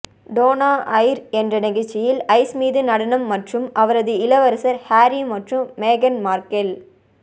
Donna Air என்ற நிகழ்ச்சியில் ice மீது நடனம் மற்றும் அவரது இளவரசர் ஹாரி மற்றும் மேகன் மார்க்கெல்